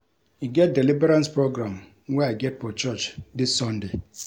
E get deliverance program wey I get for church dis sunday